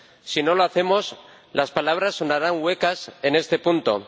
Si no lo hacemos, las palabras sonarán huecas en este punto.